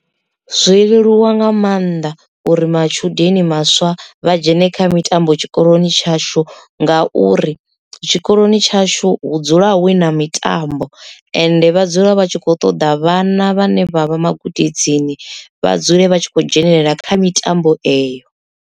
Zwo leluwa nga maanḓa uri matshudeni maswa vha dzhene kha mitambo tshikoloni tshashu nga uri tshikoloni tshashu hu dzula hu na mitambo ende vha dzula vha tshi kho ṱoḓa vhana vhane vha vha magudedzi vha dzule vha tshi khou dzhenelela kha mitambo eyo.